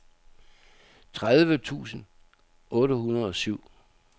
tredive tusind otte hundrede og syv